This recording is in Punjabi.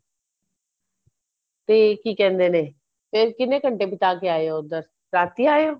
ਤੇ ਕੀ ਕਹਿੰਦੇ ਨੇ ਕਿੰਨੇ ਘੰਟੇ ਬਿਤਾ ਕੇ ਆਏ ਹੋ ਉੱਧਰ ਰਾਤੀ ਆਏ ਹੋ